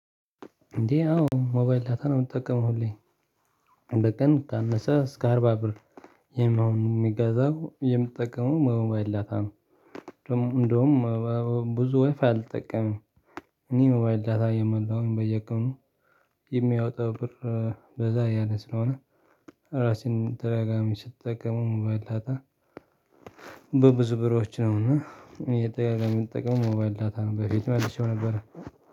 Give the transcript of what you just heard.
እንዴ አዎ ሞባይል ዳታ ነው የምትጠቀመው ሁሌ በቀን ካነሰ እስከ አርባ ብር ይሄን አሁን የምትጠቀመው በሞባይል ዳታ ነው። እንደውም ብዙ ዋይ ፋይ አልጠቀመም። እኔ ሞባይል ዳታ እየሞላሁ በየቀኑ የሚያወጣው ብር በዛ ያለ ስለሆነ። ራሴን ተደጋጋሚ ስጠቀም ሞባይል ዳጣ በብዙ ብሮች ነውና። የምንጠቀመው ሞባይል ዳታ ነው በፊት መልሼው ነበር